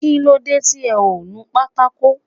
Kílódé tí ẹ ò nu pátákò